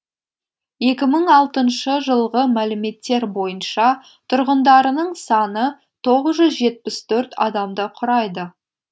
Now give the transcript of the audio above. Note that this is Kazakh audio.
екі мың алтыншы жылғы мәліметтер бойынша тұрғындарының саны тоғыз жүз жетпіс төрт адамды құрайды